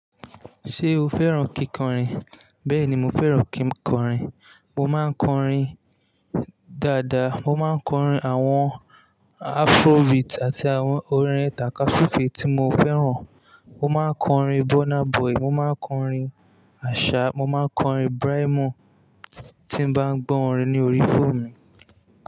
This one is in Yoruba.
Ṣé o fẹ́ràn kíkọrin? Bẹ́ẹ̀ ni, mo fẹ́ràn kí n kọrin. Mo máa ń kọrin dáadáa. Mo máa ń kọrin àwọn Afrobeat àti àwọn orin tàka súfe tí mo fẹ́ràn. Mo máa ń kọrin Burna Boy, mo máa ń kọrin Asaa, mo máa ń kọrin Brymo tí n bá gbọ́ orin ní orí fóònù mi.